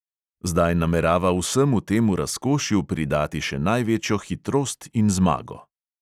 Zdaj namerava vsemu temu razkošju pridati še največjo hitrost in zmago.